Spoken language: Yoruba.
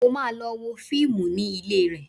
Mo máa lọ wo fíìmù ní ilé rẹ̀